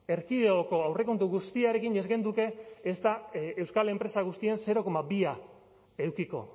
erkidegoko aurrekontu guztiarekin ez genuke ezta euskal enpresa guztien zero koma bia edukiko